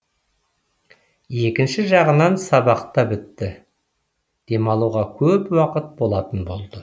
екінші жағынан сабақ та бітті демалуға көп уақыт болатын болды